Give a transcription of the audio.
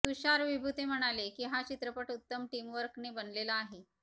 तुषार विभुते म्हणाले की हा चित्रपट उत्तम टीमवर्क ने बनलेला आहे